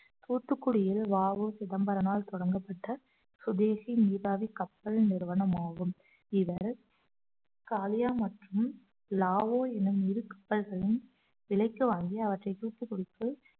தூத்துக்குடியில் வ உ சிதம்பரனால் தொடங்கப்பட்ட சுதேசி நீராவி கப்பல் நிறுவனம் ஆகும் இவர் காளியா மற்றும் லாவோ என்ன இருகப்பல்களும் விலைக்கு வாங்கி அவற்றை தூத்துக்குடிக்கும்